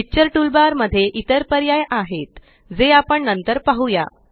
picture toolbar मध्ये इतर पर्याय आहेत जे आपण नंतर पाहुया